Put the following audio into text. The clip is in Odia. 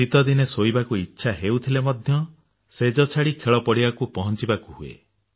ଶୀତ ଦିନେ ଶୋଇବାକୁ ଇଚ୍ଛା ହେଉଥିଲେ ମଧ୍ୟ ଶେଯ ଛାଡି ଖେଳ ପଡିବାକୁ ପହଞ୍ଚିବାକୁ ହୁଏ